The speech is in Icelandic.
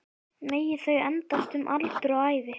Megi þau endast um aldur og ævi